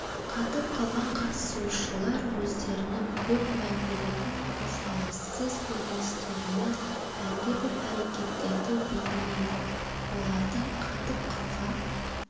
қатып қалған қатысушылар өздерінің көп мән беретін қозғалыссыз көріністерімен әлдебір әрекеттерді бейнелейді олардың қатып қалған